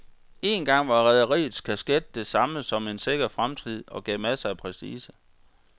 Engang var rederiets kasket det samme som en sikker fremtid og gav masser af prestige.